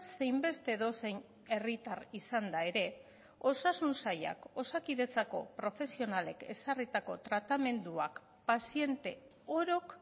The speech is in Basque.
zein beste edozein herritar izanda ere osasun sailak osakidetzako profesionalek ezarritako tratamenduak paziente orok